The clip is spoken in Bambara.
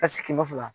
Ka sigi ko fila